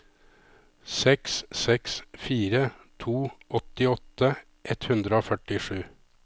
seks seks fire to åttiåtte ett hundre og førtisju